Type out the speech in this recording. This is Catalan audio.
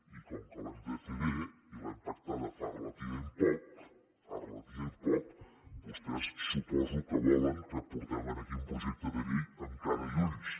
i com que l’hem de fer bé i l’hem pactada fa relativament poc fa relativament poc vostès suposo que volen que portem aquí un projecte de llei amb cara i ulls